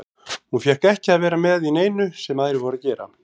Hún fékk ekki að vera með í neinu sem aðrir voru að gera.